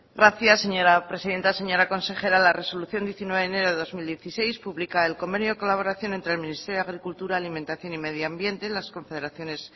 gracias señora presidenta señora consejera la resolución diecinueve de enero de dos mil dieciséis publica el convenio de colaboración entre el ministerio de agricultura alimentación y medio ambiente en las confederaciones